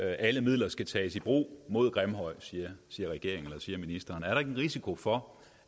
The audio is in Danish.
alle midler skal tages i brug siger ministeren er der ikke en risiko for